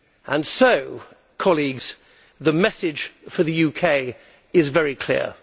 And so, colleagues, the message for the UK is very clear.